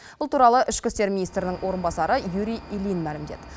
бұл туралы ішкі істер министрінің орынбасары юрий ильин мәлімдеді